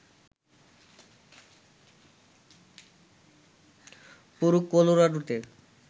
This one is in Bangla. পুরো কলোরাডোতে